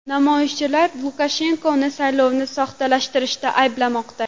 Namoyishchilar Lukashenkoni saylovni soxtalashtirishda ayblamoqda.